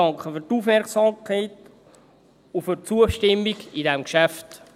Ich danke für die Aufmerksamkeit und für die Zustimmung zu diesem Geschäft.